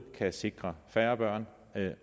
kan sikre færre børn